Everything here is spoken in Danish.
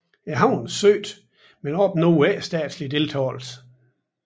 Havnen søgte men opnåede ikke statslig deltagelse